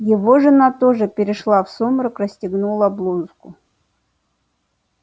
его жена тоже перешла в сумрак расстегнула блузку